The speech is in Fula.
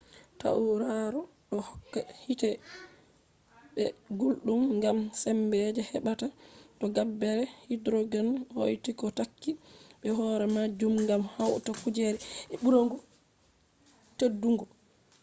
tauraro do hokka hiite be guldum gam sembe je hebata to gabbere hydrogen hauti ko takki be horemajum gam hauta kuje je buri teddugo